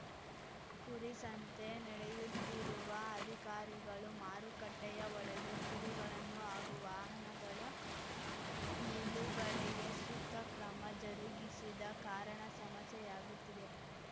ಕುರಿ ಸಂತೆ ನಡೆಯುತ್ತಿರುವ ಅಧಿಕಾರಿಗಳು ಮಾರುಕಟ್ಟೆಯ ಒಳಗೆ ಕುರಿಗಳನ್ನು ಹಾಗೂ ವಾಹನಗಳ ನಿಲುಗಡೆಗೆ ಸೂಕ್ತ ಕ್ರಮ ಜರುಗಿಸಿದ ಕಾರಣ ಸಮಸ್ಯೆಯಾಗುತ್ತಿದೆ